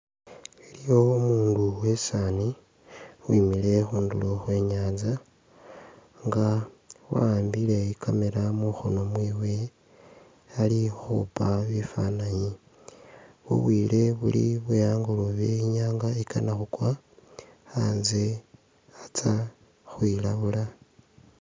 Iliyo umundu wesaani uwimile khundulo Khwe nyanza nga wa'ambile i'camera mukhono mwewe ali ukhupa bifananyi, bubwile buli bwe angolobe, inyanga ikana khukwa, anze atsa khwilabula